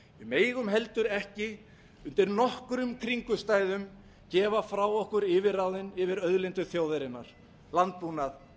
megum heldur ekki undir nokkrum kringumstæðum gefa frá okkur yfirráðin yfir auðlindum þjóðarinnar landbúnaði